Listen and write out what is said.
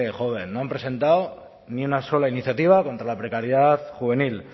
joven no han presentado ni una sola iniciativa contra la precariedad juvenil